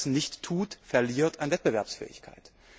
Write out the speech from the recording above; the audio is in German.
Wer das nicht tut, verliert an Wettbewerbsfähigkeit.